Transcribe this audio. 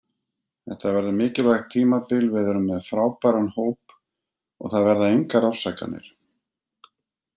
Þetta verður mikilvægt tímabil, við erum með frábæran hóp og það verða engar afsakanir.